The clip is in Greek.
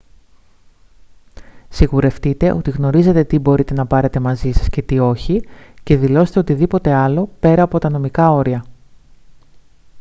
σιγουρευτείτε ότι γνωρίζετε τι μπορείτε να πάρετε μαζί σας και τι όχι και δηλώστε οτιδήποτε άλλο πέρα από τα νομικά όρια